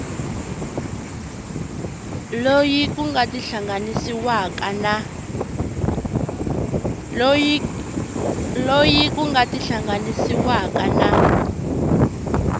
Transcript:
loyi ku nga tihlanganisiwaka na